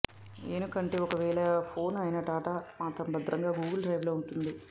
ఏనుకంటే ఒకవేళ ఫోన్ పోయిన డాటా మాత్రం భద్రంగా గూగుల్ డ్రైవ్ లో ఉంటుంది